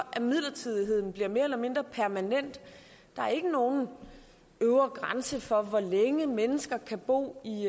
at midlertidigheden bliver mere eller mindre permanent der er ikke nogen øvre grænse for hvor længe mennesker kan bo i